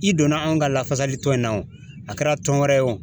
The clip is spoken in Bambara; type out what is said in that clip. I donna anw ka lafasali tɔn in na wo, a kɛra tɔn wɛrɛ ye o?